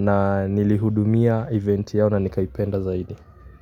na nilihudumia eventi yao na nikaipenda zaidi.